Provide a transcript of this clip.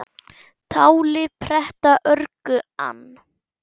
Táli pretta örgu ann